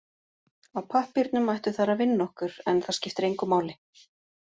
Á pappírnum ættu þær að vinna okkur, en það skiptir engu máli.